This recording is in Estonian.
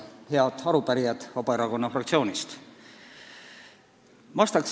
Head arupärijad Vabaerakonna fraktsioonist!